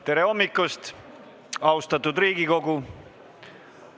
Tere hommikust, austatud Riigikogu!